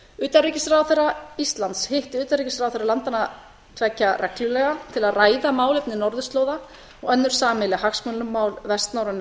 utanríkisráðherra íslands hitti utanríkisráðherra landanna tveggja reglulega til að ræða málefni norðurslóða og önnur sameiginleg hagsmunamál vestnorrænu